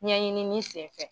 Ɲɛɲinini senfɛ.